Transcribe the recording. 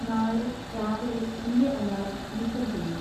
നാളെ രാവിലെ എന്‍റെ അലാറം നീക്കം ചെയ്യൂ